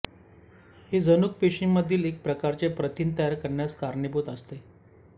हे जनुक पेशींमधील एक प्रकारचे प्रथिन तयार करण्यास कारणीभूत असते